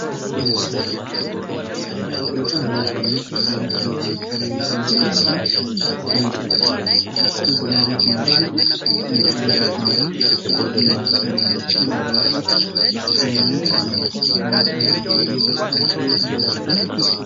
ይህ ምስል በጣም ለሰው ልጅ አሪፍ ወይም ተመካሪ የሚባል ለስላሳ መጠጥ ቀዝቀዝ ሊያደርግ የሚችል ፣ከምግብ በኋላ ሊመከር የሚችል የመጠጥ አይነት ነው። ፋንታ የሚል ማስታወቂያም ተፅፏል።